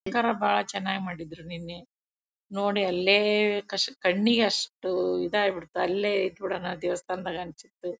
ಅಲಂಕಾರ ಬಹಳ ಚೆನ್ನಾಗ್ ಮಾಡಿದ್ರು ನಿನ್ನೆ ನೋಡಿ ಅಲ್ಲೇ ಕಣ್ಣಿಗೆ ಅಷ್ಟ್ ಇದಾಗಬಿಡ್ತ್ ಅಲ್ಲೇ ಇರೋಣ ದೇವಸ್ಥಾನದಲ್ಲಿ ಅನ್ಸ್ತಿತ್ತು